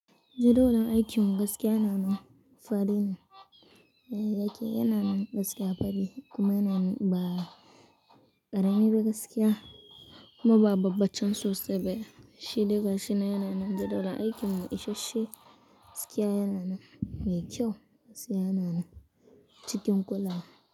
Jadawalin aikin mu gaskiya yana fadi ne, aiki yana nan gaskiya fadi kuma yana nan ba ƙarami ba gaskiya kuma ba babbaccen sosai ba. Shi diga shi na yana nan jadawalin aikin mu isashe gaskiya yana nan mai kyau gaskiya yana nan cikin kula.